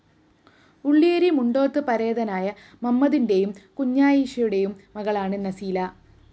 ഉള്ളിയേരി മുണ്ടോത്ത് പരേതനായ മമ്മദിന്റേയും കുഞ്ഞാ യിഷയുടേയും മകളാണ് നസീല